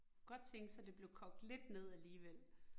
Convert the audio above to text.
Godt tænke sig, det blev kogt lidt ned alligevel